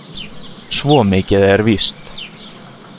Svo mikið er víst.